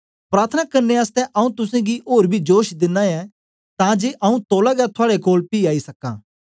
प्रार्थना करने आसतै आऊँ तुसेंगी ओर बी जोश दिना ऐं तां जे आऊँ तौला गै थुआड़े कोल पी आई सक्कां